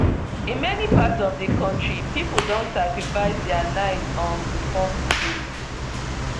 in many parts of di kontri pipo don sacrifice dia night um to form queue